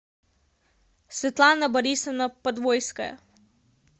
светлана борисовна подвойская